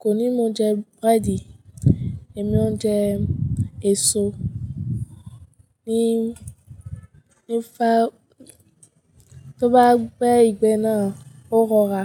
kò ní mo jẹ búrẹ́dì, èmi ó jẹ èso ní, ní fa, tó bá gbé ìgbẹ́ náà ó rọra.